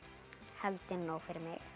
held ég nóg fyrir mig er